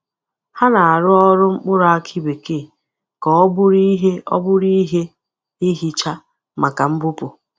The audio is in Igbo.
Ha na-arụ ọrụ mkpụrụ akị bekee ka ọ bụrụ ihe ọ bụrụ ihe ihicha maka mbupụ.